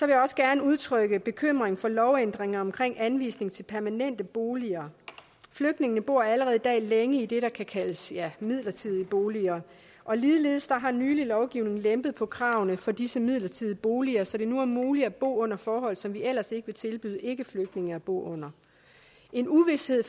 jeg også gerne udtrykke bekymring for lovændringer om anvisning til permanente boliger flygtningene bor allerede i dag længe i det der kan kaldes midlertidige boliger og ligeledes har nylig lovgivning lempet på kravene for disse midlertidige boliger så det nu er muligt at bo under forhold som vi ellers ikke vil tilbyde ikkeflygtninge at bo under en uvished